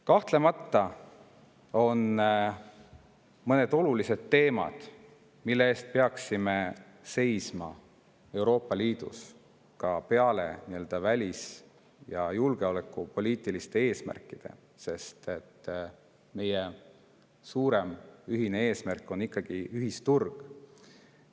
Kahtlemata on peale välis- ja julgeolekupoliitiliste eesmärkide veel mõned olulised teemad, mille eest peaksime Euroopa Liidus seisma, sest meie suurem ühine eesmärk on ikkagi ühisturu.